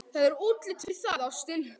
Það er útlit fyrir það, ástin.